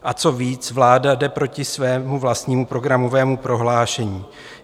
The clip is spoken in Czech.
A co víc, vláda jde proti svému vlastnímu programového prohlášení.